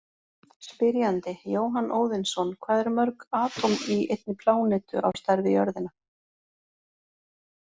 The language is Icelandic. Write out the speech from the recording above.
Spyrjandi: Jóhann Óðinsson Hvað eru mörg atóm í einni plánetu á stærð við jörðina?